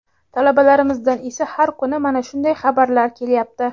Talabalarimizdan esa har kuni mana shunday xabarlar kelyapti.